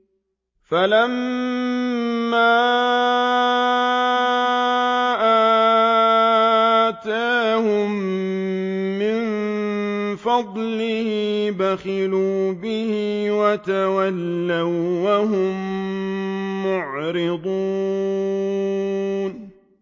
فَلَمَّا آتَاهُم مِّن فَضْلِهِ بَخِلُوا بِهِ وَتَوَلَّوا وَّهُم مُّعْرِضُونَ